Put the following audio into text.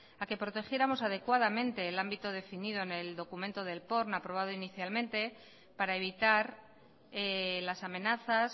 a que protegiéramos adecuadamente el ámbito definido en el documento del porn aprobado inicialmente para evitar las amenazas